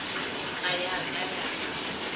ga ya ka ya ba